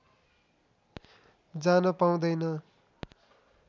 जान पाउँदैन